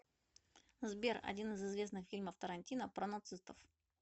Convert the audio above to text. сбер один из известных фильмов тарантино про нацистов